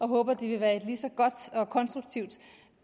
håber der vil være et lige så godt og konstruktivt